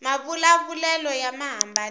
mavula vulelo ya hambanile